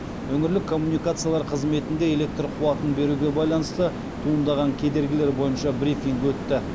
өңірлік коммуникациялар қызметінде электр қуатын беруге байланысты туындаған кедергілер бойынша брифинг өтті